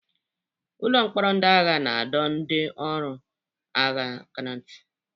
Ụlọ mkpọrọ ndị agha na-adọ ndị ọrụ agha aka ná ntị.